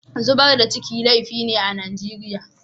Zubar da ciki laifi ne a Nijeriya.